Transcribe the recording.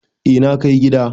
Eh na kai gida.